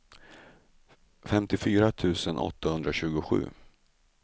femtiofyra tusen åttahundratjugosju